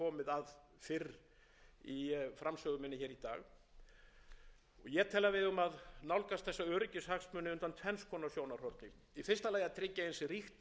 að fyrr í framsögu minni í dag ég tel að við eigum að nálgast þessa öryggishagsmuni undan tvenns konar sjónarhorni í fyrsta lagi að tryggja eins ríkt alþjóðlegt samstarf